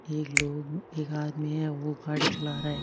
एक लोग एक आदमी है वो गाड़ी चला रहा है।